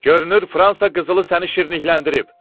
Görünür, Fransa qızılı səni şirinlikləndirib.